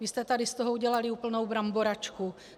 Vy jste tady z toho udělali úplnou bramboračku.